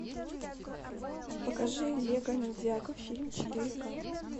покажи лего ниндзяго фильм четыре ка